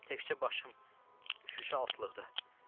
Təkcə başım şüşə altlıqda.